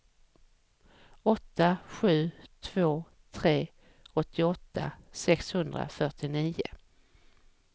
åtta sju två tre åttioåtta sexhundrafyrtionio